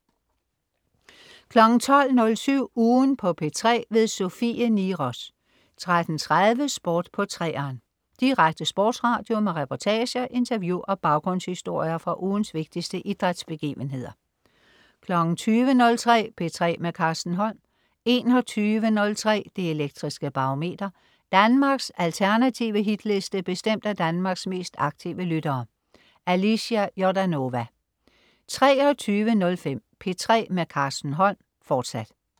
12.07 Ugen på P3. Sofie Niros 13.30 Sport på 3'eren. Direkte sportsradio med reportager, interview og baggrundshistorier fra ugens vigtigste idrætsbegivenheder 20.03 P3 med Carsten Holm 21.03 Det Elektriske Barometer. Danmarks alternative Hitliste bestemt af Danmarks mest aktive lyttere. Alicia Jordanova 23.05 P3 med Carsten Holm, fortsat